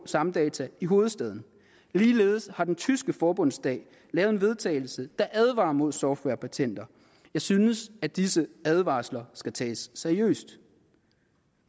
samdatahk i hovedstaden ligeledes har den tyske forbundsdag lavet en vedtagelse der advarer mod softwarepatenter jeg synes at disse advarsler skal tages seriøst